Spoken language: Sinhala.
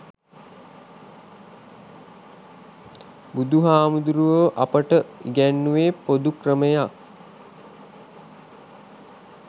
බුදුහාමුදුරුවෝ අපට ඉගැන්නුවෙ පොදු ක්‍රමයක්.